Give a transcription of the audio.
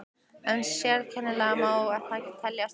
En sérkennilegt má það teljast að